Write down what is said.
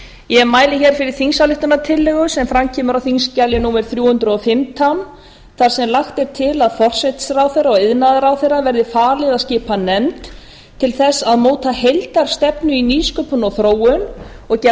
ég mæli fyrir þingsályktunartillögu sem fram kemur á þingskjali númer þrjú hundruð og fimmtán þar sem lagt er til að forsætisráðherra og iðnaðarráðherra verði falið að skipa nefnd til að móta heildarstefnu í nýsköpun og þróun og gera